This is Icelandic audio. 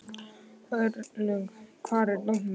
Örlygur, hvar er dótið mitt?